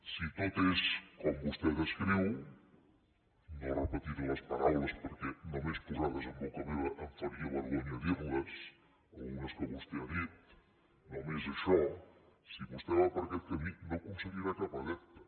si tot és com vostè descriu no repetiré les paraules perquè només posades en boca meva em faria vergonya dir les algunes que vostè ha dit només això si vostè va per aquest camí no aconseguirà cap adepte